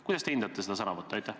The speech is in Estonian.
Kuidas te hindate seda sõnavõttu?